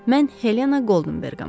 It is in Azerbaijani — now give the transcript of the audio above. Mən Helena Goldenberqəm.